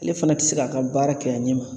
Ale fana ti se k'a ka baara kɛ a ɲɛ ma.